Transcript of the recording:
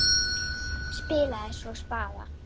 Spilaði svo spaða.